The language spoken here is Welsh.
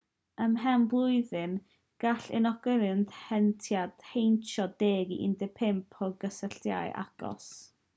ymhen blwyddyn gall unigolyn heintiedig heintio 10 i 15 o gysylltiadau agos